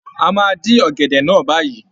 A máa dín ọ̀gẹ̀dẹ̀ náà báyìí.